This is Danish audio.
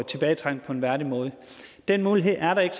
tilbage på en værdig måde den mulighed er der ikke